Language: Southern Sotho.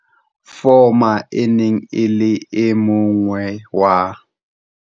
Fuma e ne e le e mong wa.